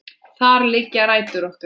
Þar liggja rætur okkar.